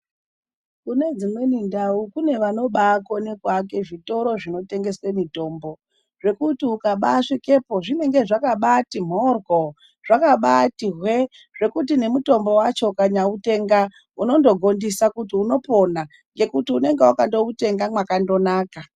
Kune dzimweni ndau kune vanobakona kuaka zvitoro zvinotengesa mitombo, zvekuti ukaba svikepo zvinenge zvakabati mhoryo, zvakabati hwee zvekuti mutombo wacho ukamutenga unongogondisa kuti unopora ngekuti unenge wakandoutenga mwakanaka.